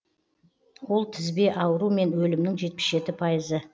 ол тізбе ауру мен өлімнің жетпіс жеті пайызы